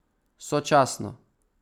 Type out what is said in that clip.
Sočasno.